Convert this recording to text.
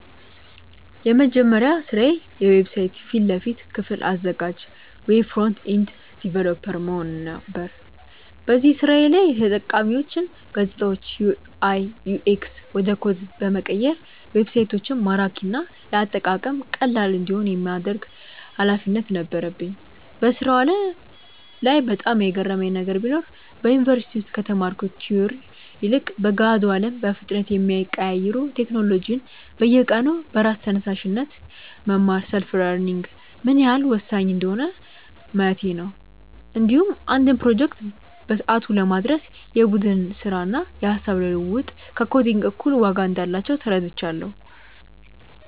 የመጀመሪያ ስራዬ የዌብሳይት ፊት ለፊት ክፍል አዘጋጅ (Web Front-End Developer) መሆን ነበር። በዚህ ስራዬ ላይ የተጠቃሚዎችን ገፅታዎች (UI/UX) ወደ ኮድ በመቀየር ዌብሳይቶች ማራኪና ለአጠቃቀም ቀላል እንዲሆኑ የማድረግ ኃላፊነት ነበረኝ። በስራው ዓለም ላይ በጣም የገረመኝ ነገር ቢኖር፣ በዩኒቨርሲቲ ውስጥ ከተማርኩት ቲዎሪ ይልቅ በገሃዱ አለም በፍጥነት የሚቀያየሩ ቴክኖሎጂዎችን በየቀኑ በራስ ተነሳሽነት መማር (Self-learning) ምን ያህል ወሳኝ እንደሆነ ማየቴ ነው። እንዲሁም አንድን ፕሮጀክት በሰዓቱ ለማድረስ የቡድን ስራና የሃሳብ ልውውጥ ከኮዲንግ እኩል ዋጋ እንዳላቸው ተረድቻለሁ።